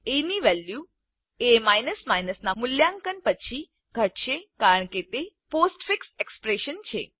એ ની value A ના મૂલ્યાંકન પછી ધટશે કારણ કે તે પોસ્ટફિક્સ એક્સપ્રેશન છે